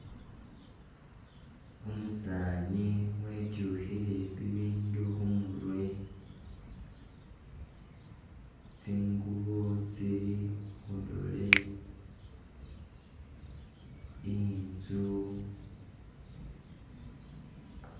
Umusani wityukhile bibindu khumurwe, tsingubo tsili khudole intsu